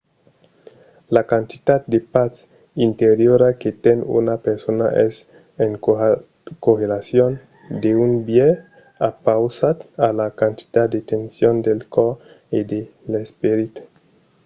la quantitat de patz interiora que ten una persona es en correlacion d'un biais opausat a la quantitat de tension del còrs e de l’esperit